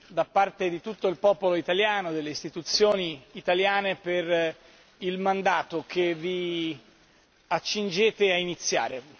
da parte di tutto il popolo italiano e delle Istituzioni italiane per il mandato che vi accingete a iniziare.